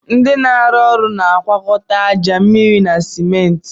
Ndị na arụ ụlọ na agwakọta aja, mmịrị na simenti